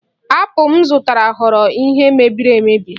Apụl m zụtara ghọrọ ihe mebiri emebi